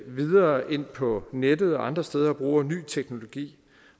videre ind på nettet og andre steder og bruger ny teknologi